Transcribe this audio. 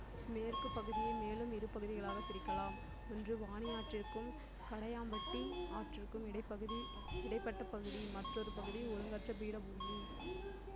மேற்குப் பகுதியை மேலும் இரு பகுதிகளாகப் பிரிக்கலாம் ஒன்று வாணியாற்றிற்கும் கடையாம்பட்டி ஆற்றிற்கும் இடைப்பகுதி இடைப்பட்ட பகுதி மற்றாெரு பகுதி ஒழுங்கற்ற பீடபூமி